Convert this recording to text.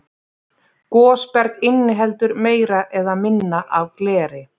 Gosberg inniheldur meira eða minna af gleri.